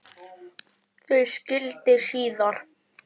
Þau skildi síðar.